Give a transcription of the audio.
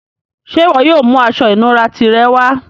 Ṣẹ́ iwo yóò mú àṣọ-ìnúrà tirẹ wà?